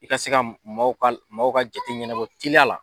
I ka se ka maw ka maw ka jate ɲɛnabɔ tiliya la